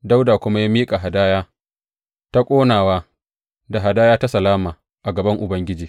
Dawuda kuma ya miƙa hadaya ta ƙonawa da hadaya ta salama a gaban Ubangiji.